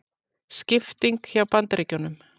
Skipting hjá Bandaríkjunum